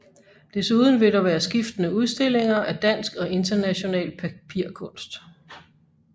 Desuden vil der være skiftende udstillinger af dansk og international papirkunst